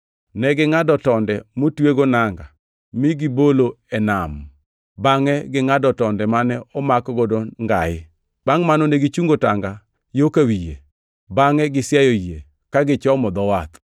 Negingʼado tonde motwego nanga mi gibolo e nam bangʼe gingʼado tonde mane omakgo ngai. Bangʼ mano negichungo tanga yo ka wi yie, bangʼe gisiayo yie ka gichomo dho wath.